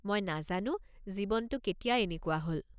মই নাজানো জীৱনটো কেতিয়া এনেকুৱা হ'ল।